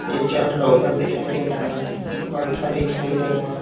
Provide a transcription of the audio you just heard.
तीन चार लॉकर दिखाई दे रहा है पंखा दिखाई दे रहा है।